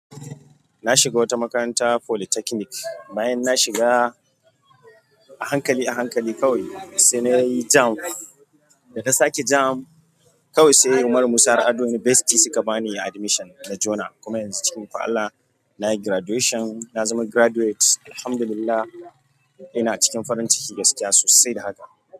Na shiga wata makarantar polytechnic, bayan na shiga a hankali a hankali kawai, sai nayi JAMB. Da na sake JAMB, kawai sai Umar Musa Harɗo University suka bani admission na jona. Kuma yanzu cikin ikon Allah nayi graduation. Na zama graduate, alhamdulillah. Ina cikin farin ciki da gaskiya sosai da haka.